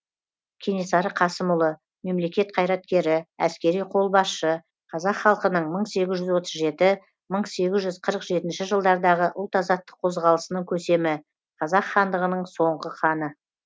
кенесары қасымұлы мемлекет қайраткері әскери қолбасшы қазақ халқының мың сегіз жүз отыз жеті мың сегіз жүз қырық жетінші жылдардағы ұлт азаттық қозғалысының көсемі қазақ хандығының соңғы ханы